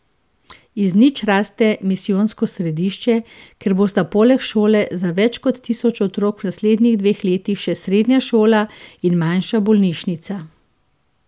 Iz nič raste misijonsko središče, kjer bosta poleg šole za več kot tisoč otrok v naslednjih dveh letih še srednja šola in manjša bolnišnica.